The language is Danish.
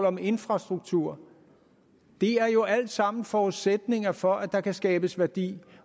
om infrastruktur det er jo alt sammen forudsætninger for at der kan skabes værdi